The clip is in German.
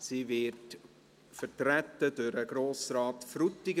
Sie wird vertreten durch Grossrat Frutiger.